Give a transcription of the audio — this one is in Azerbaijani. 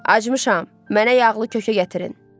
Acımışam, mənə yağlı kökə gətirin.